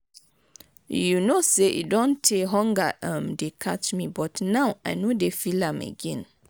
you no say e don tey hunger um dey catch me but now i no dey feel am again.